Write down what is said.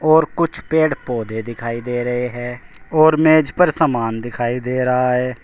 और कुछ पेड़ पौधे दिखाई दे रहे है और मेज़ पर समान दिखाई दे रहा है।